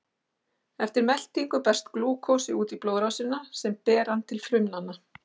Eftir meltingu berst glúkósi út í blóðrásina sem ber hann til frumna.